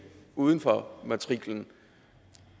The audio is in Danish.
uden for matriklen